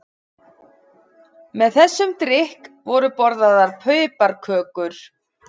Með þessum drykk voru borðaðar piparkökur.